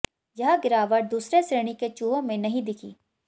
यह गिरावट दूसरे श्रेणी के चूहों में नही दिखी